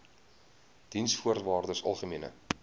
diensvoorwaardesalgemene